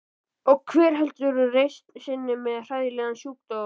Og hver heldur reisn sinni með hræðilegan sjúkdóm?